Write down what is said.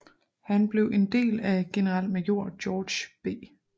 Han blev en del af generalmajor George B